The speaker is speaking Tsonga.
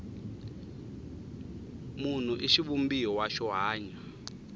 munhu i xivumbiwa xo hanya